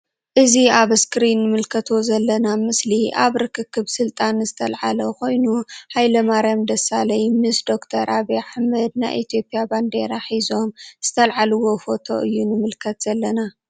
እዚ አብ እስክሪን እንምልከቶ ዘለና ምስሊ አብ ርክክብ ስልጣን ዝተልዓለ ኮይኑ ሃይለማርያም ደሳለይ ምስ ዶክተር ዓብይ አሕመድ ናይ ኢትዮጵያ ባንዴራ ሒዞም ዝተልዓልዎ ፎቶ እዩ ንምልከት ዘለና::